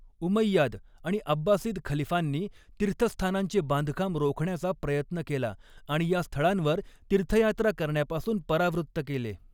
Umayyad आणि Abbasid खलिफांनी तीर्थस्थानांचे बांधकाम रोखण्याचा प्रयत्न केला आणि या स्थळांवर तीर्थयात्रा करण्यापासून परावृत्त केले.